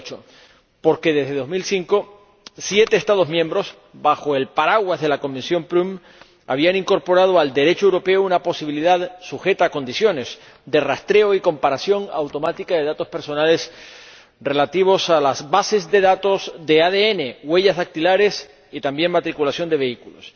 2008. Porque, desde 2005, siete Estados miembros, bajo el paraguas de la Comisión Prüm, habían incorporado al Derecho europeo una posibilidad sujeta a condiciones de rastreo y comparación automática de datos personales relativos a las bases de datos de ADN, huellas dactilares y también matriculación de vehículos.